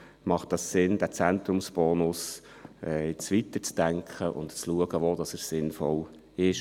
Deshalb macht es Sinn, diesen Zentrumsbonus jetzt weiterzudenken und zu schauen, wo und in welcher Art er sinnvoll ist.